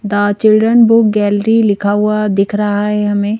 the children book gallery लिखा हुआ दिख रहा है हमें--